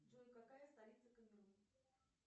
джой какая столица камерун